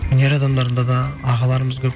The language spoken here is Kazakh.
өнер адамдарында да ағаларымыз көп